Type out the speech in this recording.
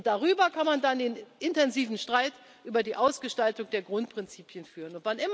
Darüber kann man dann einen intensiven Streit über die Ausgestaltung der Grundprinzipien führen.